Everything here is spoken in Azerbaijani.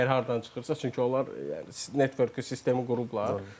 Kimsə əgər hardan çıxırsa, çünki onlar networku sistemi qurublar.